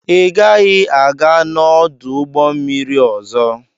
Ị gaghị aga n'ọdụ ụgbọ mmiri ọzọ!